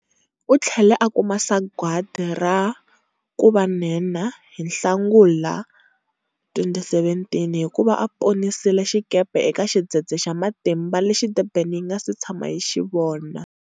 U tlhele a kuma sagwati ra 'ku va nhenha' hi Nhlangula 2017, hi ku va a ponisile xikepe eka xidzedze xa matimba lexi Durban yi nga se tshamaka yi xi vona.